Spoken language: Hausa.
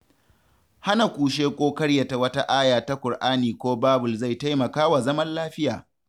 Hana kushe ko ƙaryata wata aya ta Kur'ani ko Babul zai taimaka wa zaman lafiya.